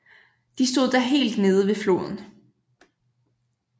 De stod da helt nede ved floden